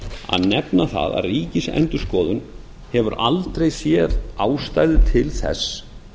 að nefna það að ríkisendurskoðun hefur aldrei séð ástæðu til þess